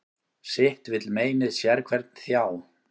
Sitt vill meinið sérhvern þjá.